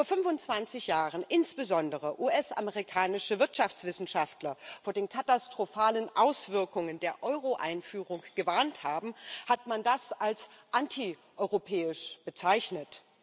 Als vor 25 Jahren insbesondere US amerikanische Wirtschaftswissenschaftler vor den katastrophalen Auswirkungen der Euro Einführung gewarnt haben, hat man das als antieuropäisch bezeichnet.